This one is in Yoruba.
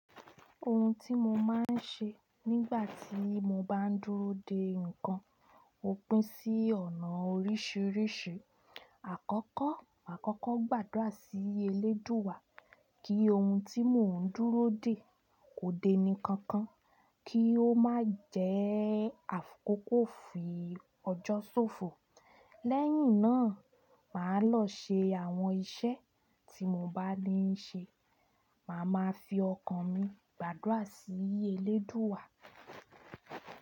Ohun tí mo máa ń ṣe nígbà tí mo bá ń dúró de ǹkan ó pín sí ọ̀nà oríṣìíríṣìí. Àkọ́kọ́, àkọ́kọ́ gbàdúrà sí Elédùwà kí ohun tí mò ń dúró de kó dé ní kankan, kí ó má jẹ́ àkọ̀kọ́ fi ọjọ́ ṣòfò. Lẹ́yìn náà, màá lọ ṣe àwọn iṣẹ́ tí mo bá lè ń ṣe. Màá ma fi ọkàn mi gbàdúrà sí Elédùwà.